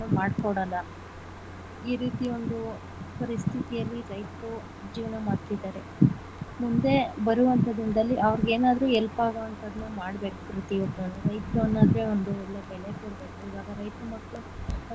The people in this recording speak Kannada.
ಮಾಡ್ಕೊಡಲ್ಲ ಈ ರೀತಿ ಒಂದು ಪರಿಸ್ಥಿತಿಯಲ್ಲಿ ರೈತರು ಜೀವನ ಮಾಡ್ತಿದ್ದಾರೆ ಮುಂದೆ ಬರುವಂತ ದಿನದಲ್ಲಿಅವ್ರಿಗೆ ಏನಾದರೂ help ಆಗೋವಂದನ್ನ ಮಾಡ್ಬೇಕು ಪ್ರತಿಯೊಂದನ್ನೂ ರೈತರು ಅಂದ್ರೆ ಒಂದು ಒಳ್ಳೆ ಬೆಲೆ ಕೊಡಬೇಕು ಇವಾಗ ರೈತರ್ ಮಕ್ಳು ಅಂದ್ರೆ ಏನು ಮಾಡ್ಕೊಡಲ್ಲ.